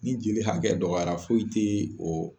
Ni jeli hakɛ dɔgɔyara foyi ti o